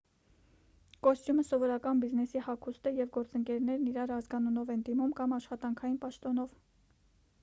կոստյումը սովորական բիզնեսի հագուստ է և գործընկերներն իրար ազգանունով են դիմում կամ աշխատանքային պաշտոնով